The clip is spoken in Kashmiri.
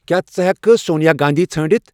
کیا ژٕ ہیکِہ کھہ سونیا گاندھی ژھانٛڑِتھ ؟